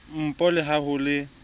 npo le ha ho le